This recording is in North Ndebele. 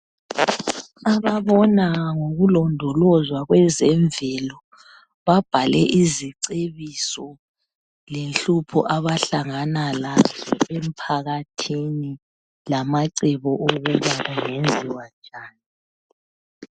Ababona ngokulondolozwa kwezemvelo babhale izicebiso, lenhlupho abahlangana lazo emphakathini lamacebo okuthi kungenziwa njani.